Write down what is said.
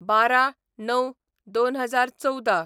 १२/०९/२०१४